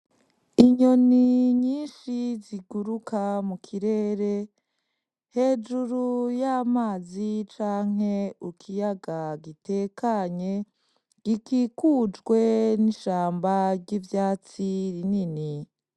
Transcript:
Inyoni nyishi ziguruka mu kirere hejuru y'amazi canke ikiyaga gitekanye gikikujwe n'ishamba ry'ivyatsi rinini.